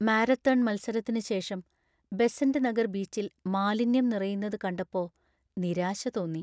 Marathon മത്സരത്തിന് ശേഷം ബെസന്റ് നഗർ ബീച്ചിൽ മാലിന്യം നിറയുന്നത് കണ്ടപ്പോ നിരാശ തോന്നി.